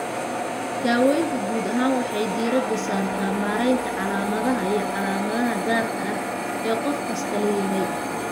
Daaweyntu guud ahaan waxay diiradda saartaa maaraynta calaamadaha iyo calaamadaha gaarka ah ee qof kastaa leeyahay.